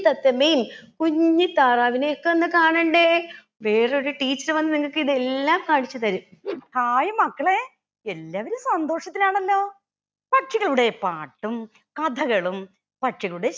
തത്തമ്മയെയും കുഞ്ഞി താറാവിനെയും ഒക്കെ ഒന്ന് കാണണ്ടേ വേറെയൊരു teacher വന്ന് നിങ്ങൾക്കിതെല്ലാം കാണിച്ച് തരും hai മക്കളെ എല്ലാവരും സന്തോഷത്തിലാണല്ലോ പക്ഷികളുടെ പാട്ടും കഥകളും പക്ഷികളുടെ